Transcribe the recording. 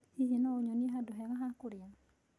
Hihi no ũnyonie handũ hega hakũrĩa